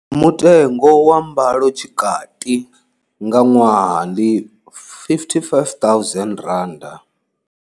Mutengo wa mbalotshikati nga ṅwaha ndi R55 000.